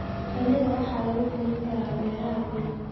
Shinnida waxaa lagu korin karaa beeraha bean.